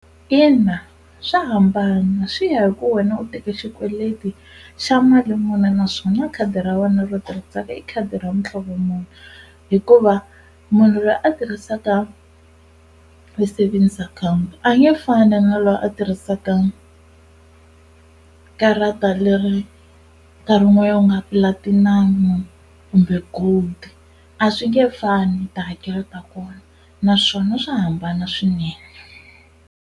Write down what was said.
Ina swa hambana swi ya hi ku wena u teke xikweleti xa mali muni naswona khadi ra wena ro tirhisaka i khadi ra muhlovo muni hikuva munhu loyi a tirhisaka savings account a nge fani na loyi a tirhisaka karata leri nkarhi wun'wana ku nga platinum-u kumbe gold a swi nge fani tihakelo ta kona naswona swa hambana swinene.